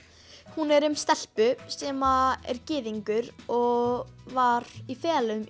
hún er um stelpu sem að er gyðingur og var í felum í